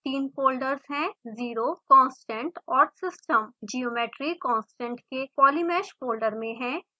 तीन फ़ोल्डर्स हैं 0 constant और system geometry constant के polymesh फोल्डर में है